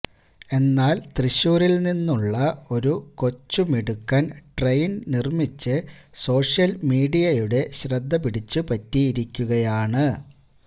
എന്നാൽ തൃശ്ശൂരിൽ നിന്നുള്ള ഒരു കൊച്ചു മിടുക്കൻ ട്രെയിൻ നിർമിച്ച് സോഷ്യൽ മീഡിയയുടെ ശ്രദ്ധപിടിച്ചു പറ്റിയിരിക്കുകയാണ്